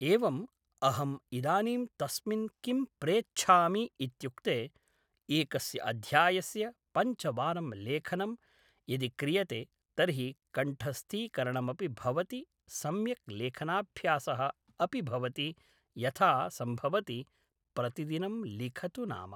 एवम् अहम् इदानीं तस्मिन् किं प्रेच्छामि इत्युक्ते एकस्य अध्यायस्य पञ्चवारं लेखनं यदि क्रियते तर्हि कण्ठस्थीकरणमपि भवति सम्यक् लेखनाभ्यासः अपि भवति यथा सम्भवति प्रतिदिनं लिखतु नाम